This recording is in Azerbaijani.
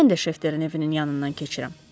Mən də Şafterin evinin yanından keçirəm.